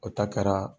O ta kɛra